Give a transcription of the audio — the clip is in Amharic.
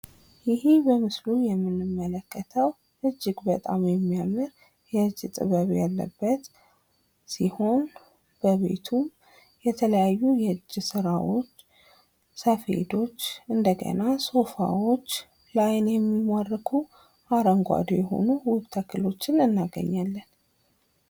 ይህ በምስሉ ላይ የምንመለከተው እጅግ በጣም የሚያምር የእጅ ጥበብ ያለበት ሲሆን፤ በቤቱ የተለያዩ የእጅ ስራዎች፣ ሰፌዶች፣ ሶፋዎችን እና ለአይን የሚማርኩ ውብ ተክሎችን እናገኛለን።